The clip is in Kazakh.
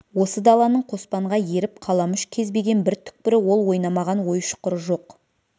осы даланың қоспанға еріп қаламүш кезбеген бір түкпірі ол ойнамаған ой-шұқыры жоқ